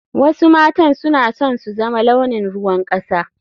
Wasu matan suna son su zama launin ruwan kasa.